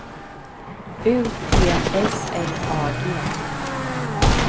U T S L A G